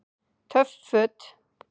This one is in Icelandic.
Töff Föt